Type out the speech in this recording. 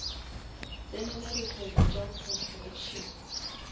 tsenela dikgwebo tša construction